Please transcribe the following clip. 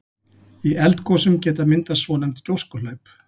Í eldgosum geta myndast svonefnd gjóskuhlaup.